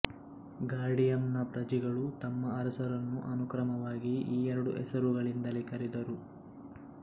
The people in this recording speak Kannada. ಗಾರ್ಡಿಯಂನ ಪ್ರಜೆಗಳು ತಮ್ಮ ಅರಸರನ್ನು ಅನುಕ್ರಮವಾಗಿ ಈ ಎರಡು ಹೆಸರುಗಳಿಂದಲೇ ಕರೆದರು